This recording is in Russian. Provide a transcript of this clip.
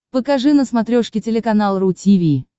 покажи на смотрешке телеканал ру ти ви